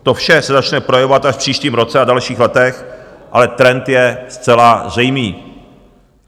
To vše se začne projevovat až v příštím roce a dalších letech, ale trend je zcela zřejmý.